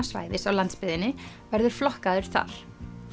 svæðis á landsbyggðinni verður flokkaður þar